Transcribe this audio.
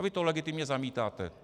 A vy to legitimně zamítáte.